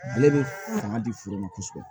Ale bɛ fanga di foro ma kosɛbɛ